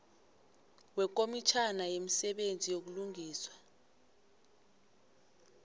wekomitjhana yemisebenzi yobulungiswa